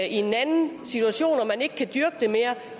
i en anden situation og man ikke kan dyrke den mere